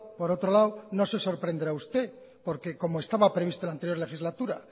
por otro lado no se sorprenderá usted porque como estaba previsto en la anterior legislatura